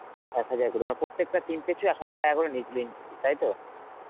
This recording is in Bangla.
এক হাজার করে মানে প্রত্যেকটা team পিছু এক হাজার টাকা করে নিয়েছিল entry fee তাই তো?